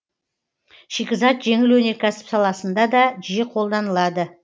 шикізат жеңіл өнеркәсіп саласында да жиі қолданылады